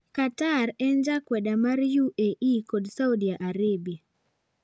Qatar en jakweda mar UAE kod Saudi Arabie.